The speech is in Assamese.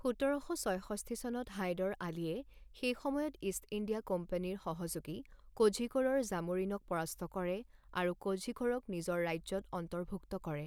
সোতৰ শ ছয়ষষ্ঠি চনত হাইদৰ আলীয়ে সেই সময়ত ইষ্ট ইণ্ডিয়া কোম্পানীৰ সহযোগী কোঝিকোড়ৰ জামোৰিনক পৰাস্ত কৰে আৰু কোঝিকোড়ক নিজৰ ৰাজ্যত অন্তৰ্ভুক্ত কৰে।